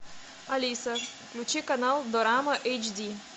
алиса включи канал дорама эйч ди